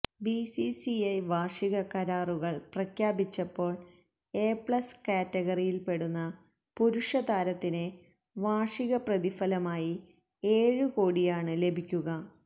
BCCI വാര്ഷിക കരാറുകള് പ്രഖ്യാപിച്ചപ്പോള് എ പ്ലസ് കാറ്റഗറിയില്പ്പെടുന്ന പുരുഷ താരത്തിന് വാര്ഷിക പ്രതിഫലമായി ഏഴ് കോടിയാണ് ലഭിക്കുക